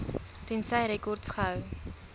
tensy rekords gehou